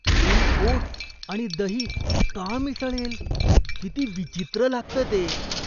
कोणी ओट्स आणि दही का मिसळेल? किती विचित्र लागतं ते.